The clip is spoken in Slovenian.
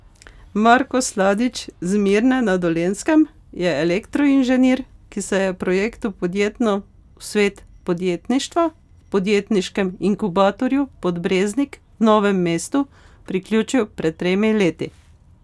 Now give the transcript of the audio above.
Marko Sladič z Mirne na Dolenjskem je elektroinženir, ki se je projektu Podjetno v svet podjetništva v Podjetniškem inkubatorju Podbreznik v Novem mestu priključil pred tremi leti.